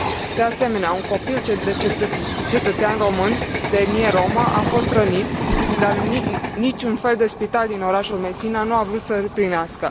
De asemenea, un copil cetățean român de etnie romă a fost rănit, dar niciun fel de spital din orașul Messina nu a vrut să îl primească.